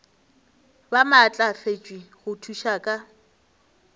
ba maatlafatšwe go thuša ka